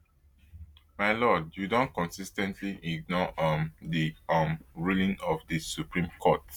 my lord you don consis ten tly ignore um di um ruling of di supreme court